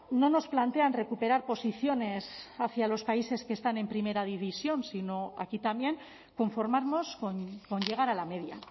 no nos plantean recuperar posiciones hacia los países que están en primera división sino aquí también conformarnos con llegar a la media